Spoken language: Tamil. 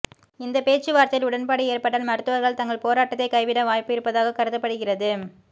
இந்த பேச்சுவார்த்தையில் உடன்பாடு ஏற்பட்டால் மருத்துவர்கள் தங்கள் போராட்டத்தை கைவிட வாய்ப்பு இருப்பதாக கருதப்படுகிறது